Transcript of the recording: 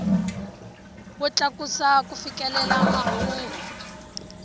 wo tlakusa ku fikelela mahungu